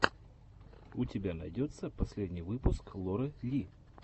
у тебя найдется последний выпуск лоры ли